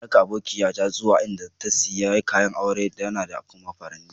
Na ra'ka abokiya ta zuwa inda ta siya kayan auren ta da kuma faranin.